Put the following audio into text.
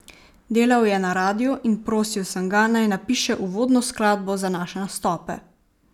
Delal je na radiu in prosil sem ga, naj napiše uvodno skladbo za naše nastope.